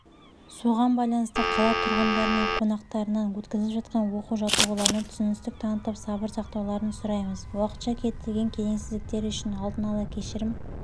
соған байланысты қала тұрғындары мен қонақтарынан өткізіліп жатқан оқу-жаттығуларына түсіністік танытып сабыр сақтауларын сұраймыз уақытша келтірілген келеңсіздіктер үшін алдын ала кешірім